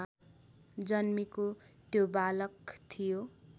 जन्मेको त्यो बालक थियो